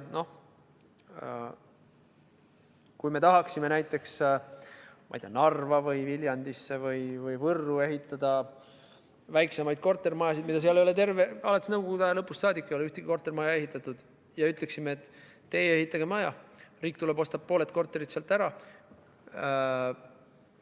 Näiteks võib olla nii, et tahame Narvasse, Viljandisse või Võrru ehitada väiksemaid kortermajasid – nõukogude aja lõpust saadik ei ole sinna ühtegi kortermaja ehitatud – ja ütleme, et teie ehitage maja valmis, riik tuleb ja ostab pooled korterid ära,